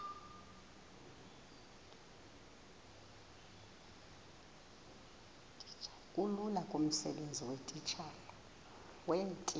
bulula kumsebenzi weetitshala